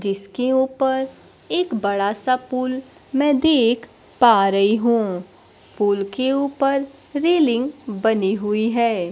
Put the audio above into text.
इसके ऊपर एक बड़ा सा पुल मैं देख पा रही हूं पुल के ऊपर रेलिंग बनी हुई है।